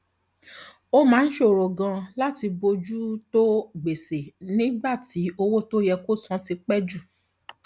ó máa ń ṣòro ganan láti bójú tó gbèsè nígbà tí owó tó yẹ kó san ti pẹ jù